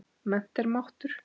Mennt er máttur.